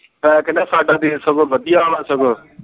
ਮੈਂ ਕਹਿਣਾ ਹਾ ਸਾਡਾ ਦੇਸ਼ ਸਗੋਂ ਵਧੀਆ ਹੈ ਸਗੋਂ